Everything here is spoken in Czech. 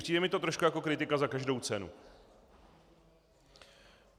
Přijde mi to trošku jako kritika za každou cenu.